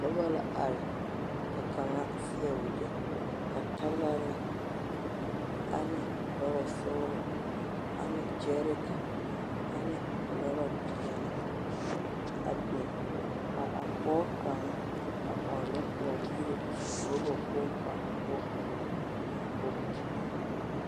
Noba la are, ka kaŋa seɛ wogyɛ ka talarɛɛ ane orabasɔglɔ ane gyɛɛreka ane orabapeɛle, a biŋ, ka a pɔge kaŋa a ɔnnɔ kõɔ yire oraba kpoŋ kaŋa poɔ ennɛ bogti kaŋ poɔ.